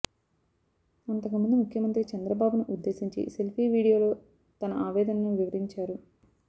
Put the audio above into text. అంతకుముందు ముఖ్యమంత్రి చంద్రబాబును ఉద్దేశించి సెల్ఫీ వీడియోలో తన ఆవేదనను వివరించారు